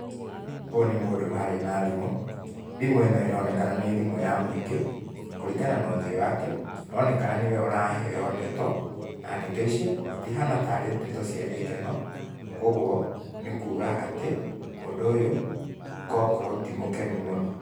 Ũyũ nĩ mũndũ ũraria na thimũ, thimũ ĩno ĩronekana nĩ thimũ ya mũingĩ, kũringana na ũthiũ wake, onekana nĩ we ũraheo ndeto, na ndeto icio citihana tarĩ ndeto cia gĩkeno, kwoguo, nĩ kuuga atĩ, mũndũ ũyũ kokoro ti mũkenu mũno.